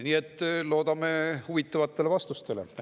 Nii et loodame huvitavaid vastuseid.